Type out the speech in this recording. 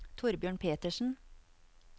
Torbjørn Petersen